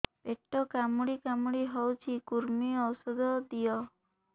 ପେଟ କାମୁଡି କାମୁଡି ହଉଚି କୂର୍ମୀ ଔଷଧ ଦିଅ